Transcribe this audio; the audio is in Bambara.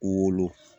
Wolo